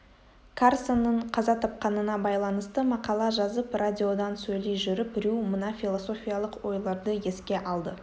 карсонның қаза тапқанына байланысты мақала жазып радиодан сөйлей жүріп рью мына философиялық ойларды еске алды